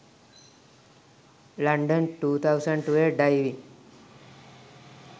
london 2012 diving